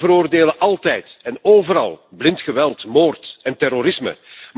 We veroordelen altijd en overal blind geweld, moord en terrorisme.